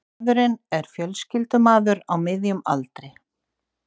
Maðurinn er fjölskyldumaður á miðjum aldri